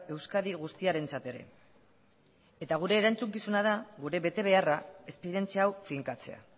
euskadi guztiarentzat ere eta gure erantzukizuna da gure betebeharra esperientzia hau finkatzea